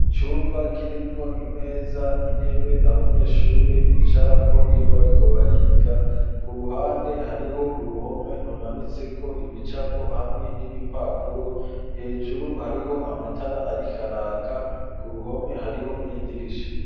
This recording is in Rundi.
Cumba kirimwo imeza, intebe abanyeshuri bicarako iyo bariko bariga .Ku ruhande hariho uruhome rumanitse ko ibicapo hamwe n'ibipapuro hejuru hariho amatara ariko araka ku ruhome hariho n'idirisha.